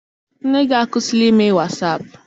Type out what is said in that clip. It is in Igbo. Nne gị akwụsila ime wasaapụ?